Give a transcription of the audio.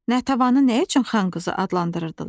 Natəvanı nə üçün xan qızı adlandırırdılar?